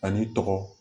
A n'i tɔgɔ